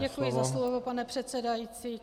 Děkuji za slovo, pane předsedající.